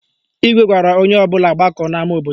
Igwe gwara onye ọbụla gbakọọ n'ama obodo